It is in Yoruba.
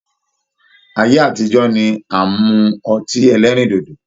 Ayé àtijọ́ ni à ń mu ọtí ẹlẹ́rìndòdò